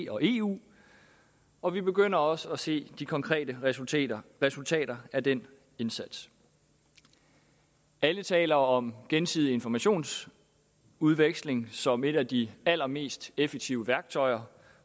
og eu og vi begynder også at se de konkrete resultater resultater af den indsats alle taler om gensidig informationsudveksling som et af de allermest effektive værktøjer